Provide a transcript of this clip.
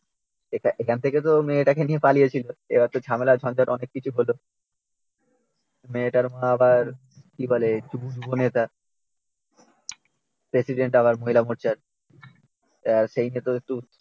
এখান এখান থেকে তো মেয়েটাকে নিয়ে পালিয়েছিল এবার তো ঝামেলা ঝঞঝাট অনেক কিছু হল। মেয়েটার মা আবার কি বলে যুব নেতা প্রেসিডেন্ট আবার মহিলা মোর্চার। তার সেই নিয়ে ওদের তো সমস্ত